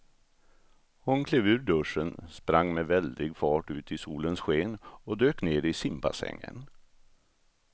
Hon klev ur duschen, sprang med väldig fart ut i solens sken och dök ner i simbassängen.